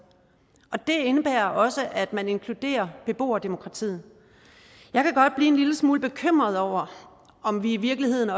og det indebærer også at man inkluderer beboerdemokratiet jeg kan godt blive en lille smule bekymret over om vi i virkeligheden